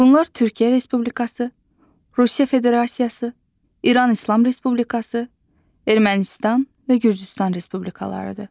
Bunlar Türkiyə Respublikası, Rusiya Federasiyası, İran İslam Respublikası, Ermənistan və Gürcüstan Respublikalarıdır.